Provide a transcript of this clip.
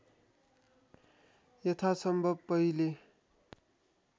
यथासम्भव पहिले